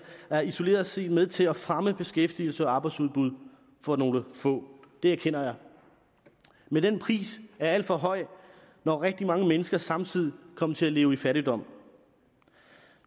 isoleret set med til at fremme beskæftigelse og arbejdsudbud for nogle få det erkender jeg men den pris er alt for høj når rigtig mange mennesker samtidig kommer til at leve i fattigdom